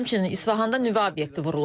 Həmçinin İsfahanda nüvə obyekti vurulub.